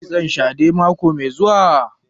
Za ki yi kitson shadè mako mai zuwa?